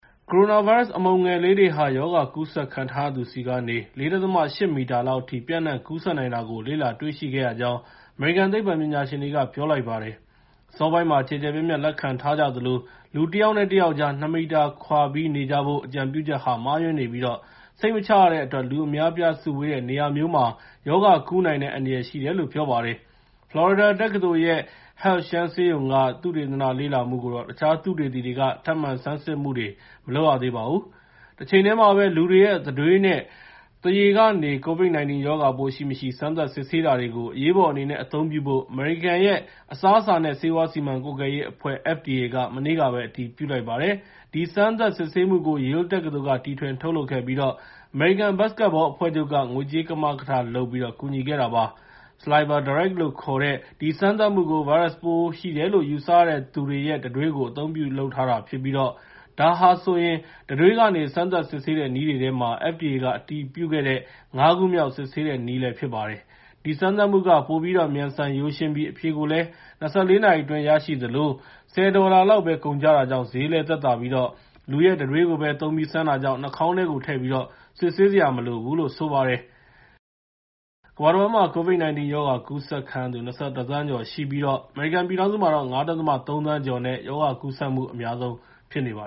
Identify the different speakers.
Speaker 1: ကိုရိုနာဗိုင်းရပ်စ် အမှုန်ငယ်လေးတွေဟာ ရောဂါကူးစက်ခံရထားရသူထံကနေ ၄.၈ မီတာ (၁၅ ပေကျော်) လောက်အထိ ပျံ့နှံ့ကူးစက်နိုင်တာကို လေ့လာတွေ့ရှိခဲ့ရကြောင်း အမေရိကန် သိပ္ပံပညာရှင်တွေက ပြောလိုက်ပါတယ်။ အစောပိုင်းမှာ ကျယ်ကျယ်ပြန့်ပြန့် လက်ခံထားကြသလို လူတယောက်နဲ့ တယောက်ကြား ၂ မီတာ (၆ ပေကျော်) ခွာပြီး နေကြဖို့ အကြံပြုချက်ဟာ မှားယွင်းနေပြီး စိတ်မချရတဲ့အတွက် လူအများအပြား စုဝေးတဲ့ နေရာမျိုးမှာ ရောဂါကူးနိုင်တဲ့ အန္တရာယ် ရှိတယ်လို့လည်း ပြောပါတယ်။ ဖလော်ရီဒါတက္ကသိုလ်ရဲ့ Health Shands ဆေးရုံက သုတေသန လေ့လာမှုကိုတော့ တခြားသုတေသီတွေက ထပ်မံဆန်းစစ်မှုတွေ မလုပ်ရသေးပါဘူး။ တချိန်တည်းမှာပဲ လူတွေရဲ့ တံတွေးနဲ့ သွားရည်တွေကနေ COVID-19 ရောဂါပိုးရှိမရှိ စမ်းသပ်စစ်ဆေးတာတွေကို အရေးပေါ်အနေနဲ့ အသုံးပြုဖို့ အမေရိကန်ရဲ့ အစားအစာနဲ့ ဆေးဝါးစီမံကွပ်ကဲရေးအဖွဲ့ (FDA) က မနေ့ကပဲ အတည်ပြုလိုက်ပါတယ်။ ဒီစမ်းသပ်စစ်ဆေးမှုကို Yale တက္ကသိုလ်က တီထွင်ထုတ်လုပ်ခဲ့ပြီး အမေရိကန် ဘတ်စကက်ဘောအဖွဲ့ချုပ်က ငွေကြေးကမကထလုပ်ပြီး ကူညီခဲ့တာပါ။ SalivaDirect လို့ခေါ်တဲ့ ဒီစမ်းသပ်မှုကို ဗိုင်းရပ်စ်ပိုးရှိတယ်လို့ ယူဆရသူတွေရဲ့ တံတွေးတွေကို အသုံးပြုထုတ်လုပ်ထားပြီး ဒါဟာဆိုရင် တံတွေးကနေ စမ်းသပ်စစ်ဆေးတဲ့ နည်းတွေထဲမှာ FDA က အတည်ပြုခဲ့တဲ့ ၅ ခုမြောက် စစ်ဆေးနည်းလည်း ဖြစ်ပါတယ်။ ဒီစမ်းသပ်မှုက ပိုပြီးတော့ မြန်ဆန်ရိုးရှင်းပြီး အဖြေကိုလည်း ၂၄ နာရီအတွင်း ရရှိသလို ၁၀ ဒေါ်လာလောက်ပဲ ကုန်ကျတာကြောင့် ဈေးလည်းသက်သာပြီး လူရဲ့တံတွေးကိုပဲ သုံးပြီး စမ်းတာကြောင့် နှာခေါင်းထဲကိုထည့်ပြီး စစ်ဆေးစရာ မလိုဘူးလို့လည်း ဆိုပါတယ်။ ကမ္ဘာတဝန်းမှာ COVID-19 ရောဂါကူးစက်ခံရသူ ၂၁ သန်းကျော်ရှိပြီး အမေရိကန်ပြည်ထောင်စုမှာတော့ ၅.၃ သန်းကျော်နဲ့ ရောဂါကူးစက်မှု အများဆုံးဖြစ်ပါ